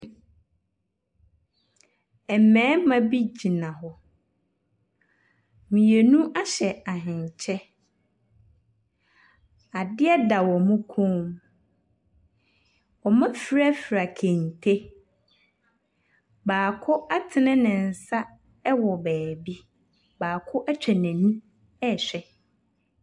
Mbɛɛma bi gyina hɔ, mienu ahyɛ ahenkyɛ. Adeɛ da ɔmo kɔn mu, wɔmo afrafra kente, baako atene ne nsa ɛwɔ beebi, baako etwa n'eni ɛɛhwɛ.